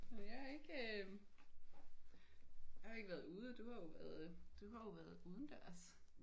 Jeg er ikke øh jeg har ikke været ude. Du har jo været øh du har jo været udendørs